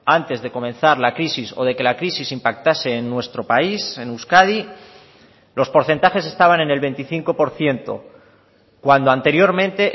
antes de comenzar la crisis o de que la crisis impactase en nuestro país en euskadi los porcentajes estaban en el veinticinco por ciento cuando anteriormente